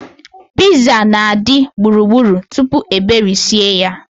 Piiza na-adị gburugburu tupu e berisie ya.